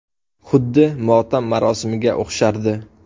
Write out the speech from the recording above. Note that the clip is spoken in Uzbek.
Xuddi motam marosimiga o‘xshardi.